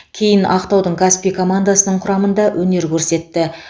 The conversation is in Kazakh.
кейін ақтаудың каспий командасының құрамында өнер көрсетті